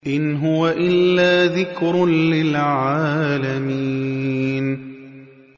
إِنْ هُوَ إِلَّا ذِكْرٌ لِّلْعَالَمِينَ